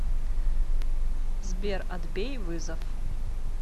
сбер отбей вызов